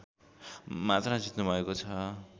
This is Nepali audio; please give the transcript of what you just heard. मात्र जित्नुभएको छ